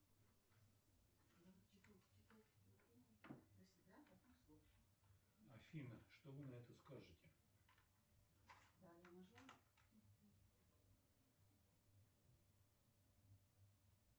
афина что вы на это скажете